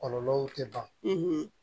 Kɔlɔlɔw tɛ ban